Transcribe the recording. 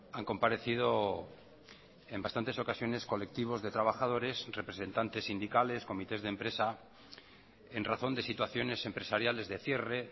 han comparecido en bastantes ocasiones colectivos de trabajadores representantes sindicales comités de empresa en razón de situaciones empresariales de cierre